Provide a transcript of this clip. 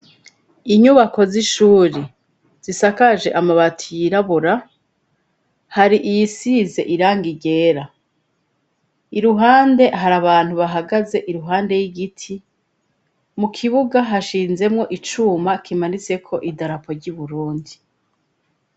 Inyubako z'ishuri zisakaje amabati yirabura hari iyisize irang ryera iruhande hari abantu bahagaze iruhande y'igiti mu kibuga hashinzemo icuma kimanitse ko idarapo ry'i Burundi.